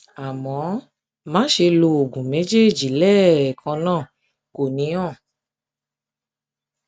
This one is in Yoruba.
àmọ má ṣe lo oògùn méjèèjì lẹẹkan oògùn méjèèjì lẹẹkan náà kò ní hàn